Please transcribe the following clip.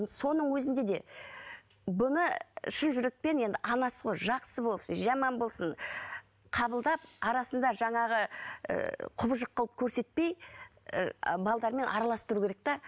соның өзінде де бұны шын жүрекпен енді анасы ғой жақсы болсын жаман болсын қабылдап арасында жаңағы құбыжық ыыы қылып көрсетпей ы араластыру керек те